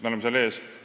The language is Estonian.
Me oleme seal eespool.